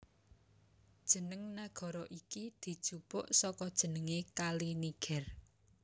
Jeneng nagara iki dijupuk saka jenengé Kali Niger